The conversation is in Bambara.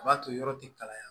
O b'a to yɔrɔ ti kalaya